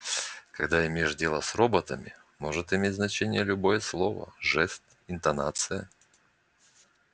когда имеешь дело с роботами может иметь значение любое слово жест интонация